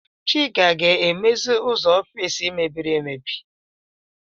Chika ga-emezi ụzọ ọfis mebiri emebi.